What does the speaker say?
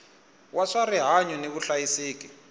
wa swa rihanyu ni vuhlayiseki